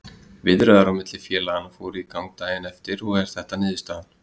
Viðræður á milli félaganna fóru í gang daginn eftir og þetta er niðurstaðan,